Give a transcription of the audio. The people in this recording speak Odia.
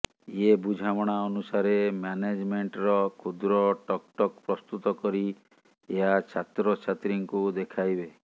ଏ ବୁଝାମଣା ଅନୁସାରେ ମ୍ୟାନେଜମେଣ୍ଟର କ୍ଷୁଦ୍ର ଟକଟକ ପ୍ରସ୍ତୁତ କରି ଏହା ଛାତ୍ରଛାତ୍ରୀଙ୍କୁ ଦେଖାଇବେ